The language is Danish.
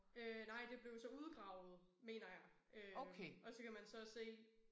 Øh nej det blev jo så udgravet mener jeg øh og så kan man så se